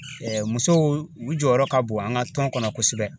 musow u jɔyɔrɔ ka bon an ka tɔn kɔnɔ kosɛbɛ.